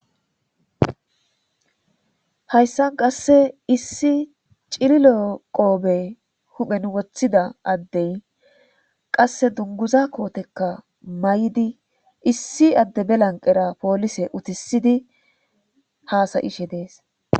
hayssan qasse issi cirilo qoobe huphen woththida addey qasse dunguza kootekka may7di issi adde belanqera poolise utisidi haasayishe dees